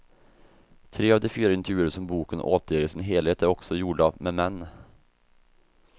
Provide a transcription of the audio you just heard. Tre av de fyra intervjuer som boken återger i sin helhet är också gjorda med män.